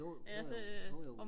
jo jojo jojo